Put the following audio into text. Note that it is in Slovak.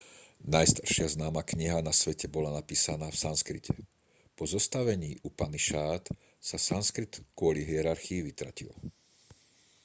najstaršia známa kniha na svete bola napísaná v sanskrite po zostavení upanišád sa sanskrit kvôli hierarchii vytratil